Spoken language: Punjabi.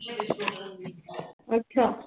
ਅੱਛਾ।